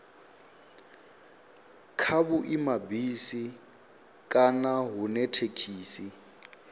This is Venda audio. kha vhuimabisi kana hune thekhisi